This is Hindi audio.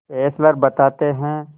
फेस्लर बताते हैं